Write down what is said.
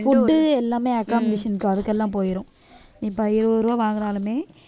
food எல்லாமே accommodation அதுக்கெல்லாம் போயிரும் இப்ப இருவது ரூபா வாங்குனாலுமே